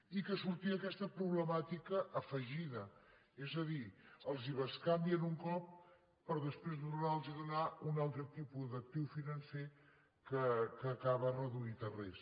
i que sortia aquesta problemàtica afegida és a dir els bescanvien un cop per després tornar los a donar un altre tipus d’actiu financer que acaba reduït a res